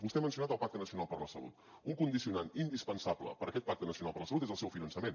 vostè ha mencionat el pacte nacional per la salut un condicionant indispensable per a aquest pacte nacional per la salut és el seu finançament